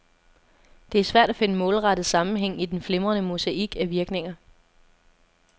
Det er svært at finde målrettet sammenhæng i den flimrende mosaik af virkninger.